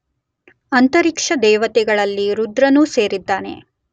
ಅಂತರಿಕ್ಷದೇವತೆಗಳಲ್ಲಿ ರುದ್ರನೂ ಸೇರಿದ್ದಾನೆ.